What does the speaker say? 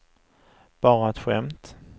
bara ett skämt